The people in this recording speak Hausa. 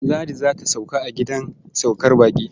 Ladi za ta sauka a gidan saukar baƙi.